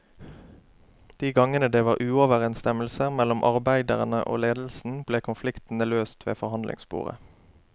De gangene det var uoverensstemmelser mellom arbeiderne og ledelsen, ble konfliktene løst ved forhandlingsbordet.